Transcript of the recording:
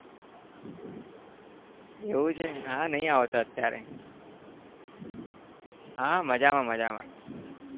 એવું છે હા નહી આવતો અત્યારે હા મજામાં મજામાં